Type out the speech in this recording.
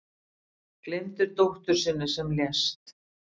Gleymdi dóttur sinni sem lést